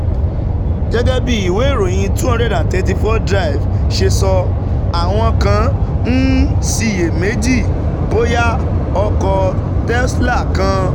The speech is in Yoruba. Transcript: Gẹ́gẹ́ bí ìwé ìròyìn two hundred and thirty four Drive ṣe sọ, àwọn kan ń ṣiyèméjì bóyá ọkọ̀ Tesla kan